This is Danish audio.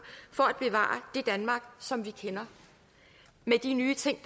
for at bevare det danmark som vi kender med de nye ting